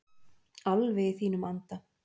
Alveg í þínum anda.